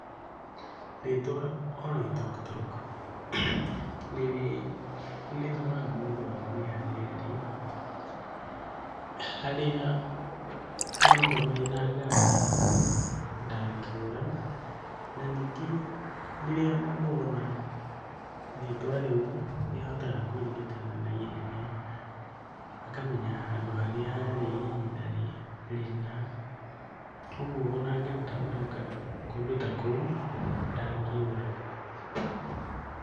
Rĩtwa Oloitoktok nĩrĩtũmaga mũndũ amenye harĩa arĩ, harĩa onokorwo hena ngari ndangĩũra, na ningĩ rĩrĩa mũndũ ona rĩtwa rĩu nĩahotaga kũririkana naihenya akamenya handũ harĩa arĩ ihinda rĩna, ũguo ona angĩhota gũcoka kũndũ ta kũu ndangĩũra.